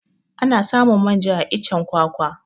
Ana samun manja a iccen kwakwa